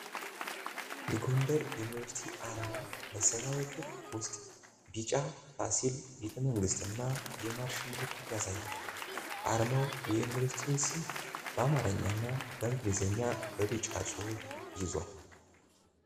የ ጎንደር ዩኒቨርሲቲ አርማ በሰማያዊ ክብ ውስጥ ቢጫ ፋሲል ቤተመንግስትንና የማርሽ ምልክትን ያሳያል። አርማው የዩኒቨርሲቲውን ስም በአማርኛ እና በእንግሊዝኛ በቢጫ ጽሑፍ ይዟል።